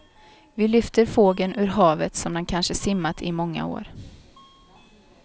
Vi lyfter fågeln ur havet som den kanske simmat i många år.